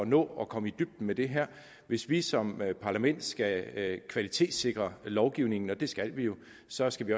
nå at komme i dybden med det her hvis vi som parlament skal kvalitetssikre lovgivningen og det skal vi jo så skal vi